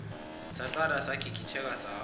saqala sagigitheka sahamba